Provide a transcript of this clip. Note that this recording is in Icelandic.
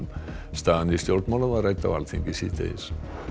staðan í stjórnmálum var rædd á Alþingi síðdegis